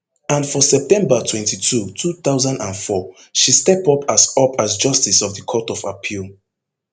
and for september twenty-two two thousand and four she step up as up as justice of the court of appeal